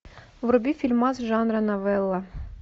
вруби фильмас жанра новелла